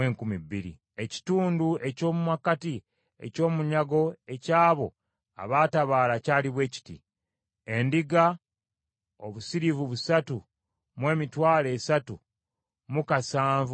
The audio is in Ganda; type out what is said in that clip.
Ekitundu eky’omu makkati eky’omunyago eky’abo abaatabaala kyali bwe kiti: Endiga, obusiriivu busatu mu emitwalo esatu mu kasanvu mu bitaano (337,500);